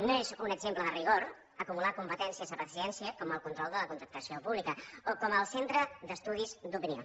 no és un exemple de rigor acumular competències a presidència com el control de la contractació pública o com el centre d’estudis d’opinió